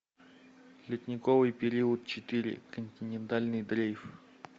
ледниковый период четыре континентальный дрейф